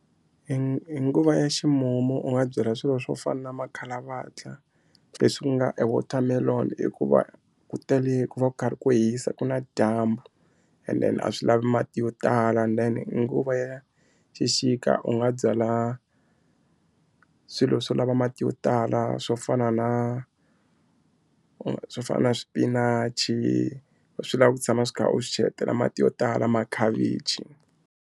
Hi hi nguva ya ximumu u nga byela swilo swo fana na makhalavatla leswi ku nga e watermelon hikuva ku tele ku va ku karhi ku hisa ku na dyambu and then a swi lavi mati yo tala and then nguva ya xixika u nga byala swilo swo lava mati yo tala swo fana na u swo fana na swipinachi swi lava ku tshama swi kha u swi cheletela mati yo tala makhavichi.